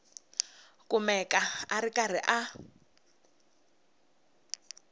kumeka a ri karhi a